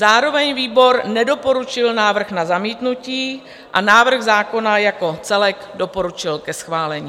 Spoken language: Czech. Zároveň výbor nedoporučil návrh na zamítnutí a návrh zákona jako celek doporučil ke schválení.